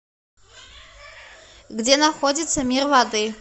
где находится мир воды